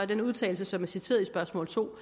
den udtalelse som er citeret i spørgsmål to